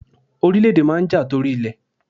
Orílẹ̀ èdè máa n ja tori ilẹ̀